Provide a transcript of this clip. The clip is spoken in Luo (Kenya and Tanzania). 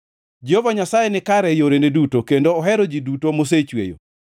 Jehova Nyasaye nikare e yorene duto kendo ohero ji duto mosechweyo.